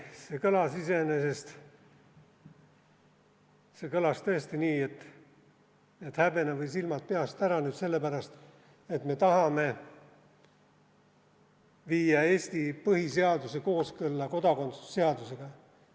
See kõlas iseenesest tõesti nii, et häbene või silmad peast ära selle pärast, et me tahame viia Eesti põhiseaduse kooskõlla kodakondsuse seadusega.